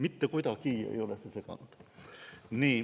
Mitte kuidagi ei ole see seganud.